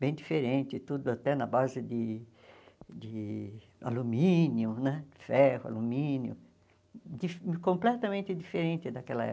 bem diferente, tudo até na base de de alumínio, né ferro, alumínio, di completamente diferente daquela época.